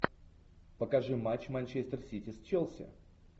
покажи матч манчестер сити с челси